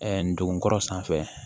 ndugunkɔrɔ sanfɛ